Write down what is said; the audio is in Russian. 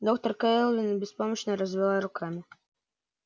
доктор кэлвин беспомощно развела руками